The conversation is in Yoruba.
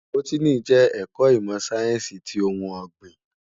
Bótìní jè èkò imò sáyènsí ti óoùn ògbín